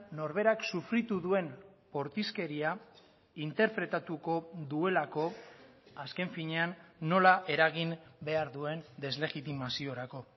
norberak sufritu duen bortizkeria interpretatuko duelako azken finean nola eragin behar duen deslegitimaziorako